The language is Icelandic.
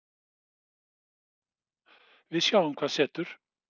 Við sjáum hvað setur